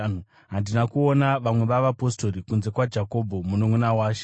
Handina kuona vamwe vavapostori, kunze kwaJakobho mununʼuna waShe.